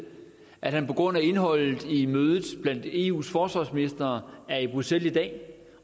at han på grund af indholdet i mødet blandt eus forsvarsministre er i bruxelles i dag